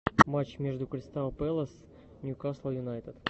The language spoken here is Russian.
матч между кристал пэлас ньюкасл юнайтед